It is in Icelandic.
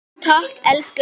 Takk elsku pabbi minn.